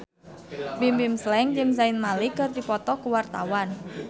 Bimbim Slank jeung Zayn Malik keur dipoto ku wartawan